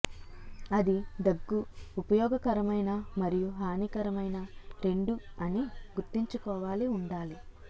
అది దగ్గు ఉపయోగకరమైన మరియు హానికరమైన రెండు అని గుర్తుంచుకోవాలి ఉండాలి